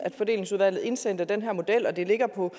fordelingsudvalget indsendte den her model og den ligger på